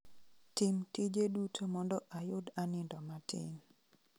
Tim tije duto mondo ayud anindo matin